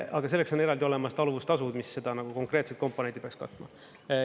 Aga selleks on eraldi olemas taluvustasud, mis seda konkreetset komponenti peaks katma.